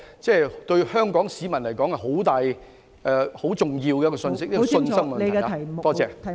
這對香港市民而言是很重大和很重要的信息，是信心問題。